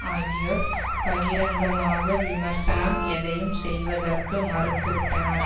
ஆகியோர் பகிரங்கமாக விமர்சனம் எதையும் செய்வதற்கு மறுத்துவிட்டனர்